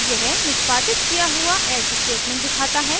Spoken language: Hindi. यह निष्पादित किया हुआ else स्टेटमेंट दिखाता है